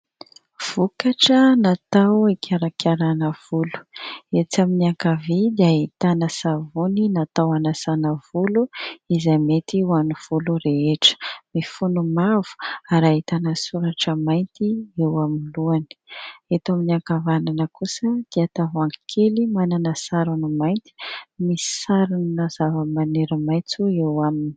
Vokatra natao hikarakarana volo. Etsy amin'ny ankavia dia ahitana savony natao hanasana volo izay mety ho any volo rehetra, mifono mavo ary ahitana soratra mainty eo amin'ny lohany. Eto amin'ny ankavanana kosa dia tavoahangy kely manana sarony mainty, misy sarina zavamaniry maitso eo aminy.